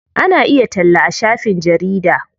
Ana iya talla a shafin jarida.